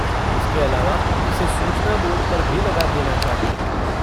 इसके अलावा इसे सूचना बोर्ड पर भी लगा देना चाहिए।